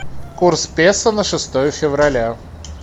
курс песо на шестое февраля